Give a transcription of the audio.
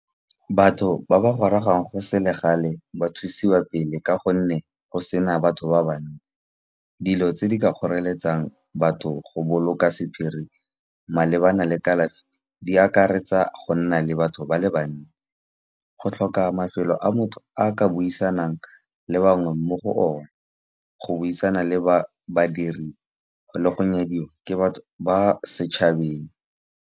Batho ba ba gorogang go selegae ba thusiwa pele, ka gonne go sena batho ba bangwe. Dilo tse di ka kgoreletsang batho go boloka sephiri malebana le kalafi di akaretsa, go nna le batho ba le bannye go tlhoka mafelo a motho a ka buisang le bangwe mo go one. Go buisana le badiri le go nyadiwa ke batho ba setšhabeng.